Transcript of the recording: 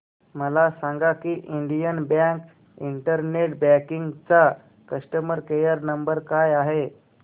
मला सांगा की इंडियन बँक इंटरनेट बँकिंग चा कस्टमर केयर नंबर काय आहे